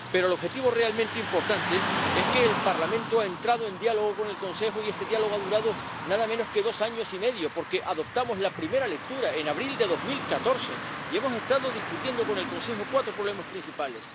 Pero el objetivo realmente importante es que el Parlamento ha entrado en diálogo con el Consejo, y este diálogo ha durado nada menos que dos años y medio, porque adoptamos la primera lectura en abril de 2014 y hemos estado discutiendo con el Consejo cuatro problemas principales...